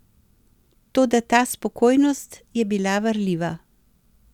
Toda ta spokojnost je bila varljiva.